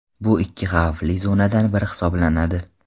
Bu ikki xavfli zonadan biri hisoblanadi.